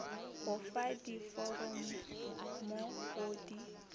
go fa diforomo go di